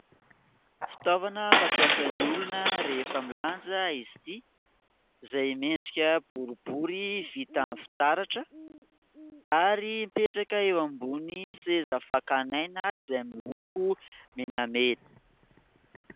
Fitaovana fampiasan'ny olona rehefa milanja izy ity ; izay miendrika boribory vita amin'ny fitaratra ; ary mipetraka eo ambony seza fakana aina, izay miloko menamena.